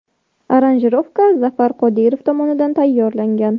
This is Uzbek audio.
Aranjirovka Zafar Qodirov tomonidan tayyorlangan.